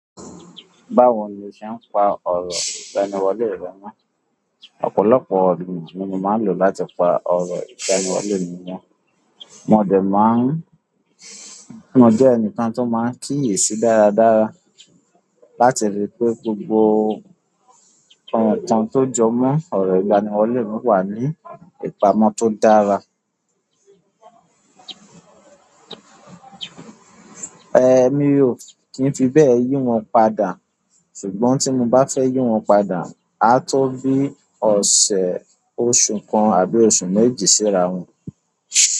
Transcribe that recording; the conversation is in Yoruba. Báwo ni o ṣe ń pa ọrọ̀ ìgbanìwọlé rẹ mọ? Ọ̀pọ̀lọpọ̀ orò ni mo máa ń lò láti pa ọrọ̀ ìgbaniwọlé mi mọ̀. Mo dẹ̀ máa ń, mo jẹ́ ẹnìkàn tó máa ń kíyèsi dáradára láti ríi pé gbogbo ọ̀rọ̀ tán tó jọ mọ́ ọ̀rọ̀ ìgbaniwọlé mi wà ní ìpamọ́ tó dára. Mi ò kí ń fi bẹ́ẹ̀ yí wọn padà. Ṣùgbọ́n tí mo bá fẹ́ yí wọn padà, a tó bí ọ̀sẹ̀ oṣù kan àbí oṣù méjì síra wọn.